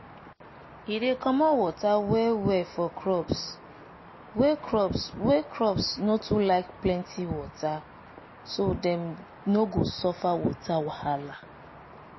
e dey comot water well well for crops wey crops wey no too like plenty water so dem no go suffer water wahala